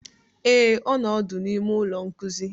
Ee, ọ nọ ọdụ n'ime ụlọ nkuzi